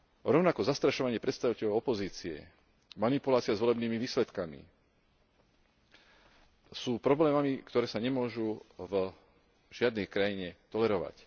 Rovnako zastrašovanie predstaviteľov opozície, manipulácia s volebnými výsledkami sú problémami, ktoré sa nemôžu v žiadnej krajine tolerovať.